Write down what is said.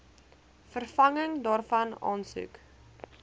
vervanging daarvan aansoek